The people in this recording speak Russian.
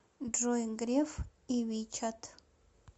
джой греф и вичат